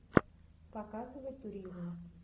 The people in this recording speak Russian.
показывай туризм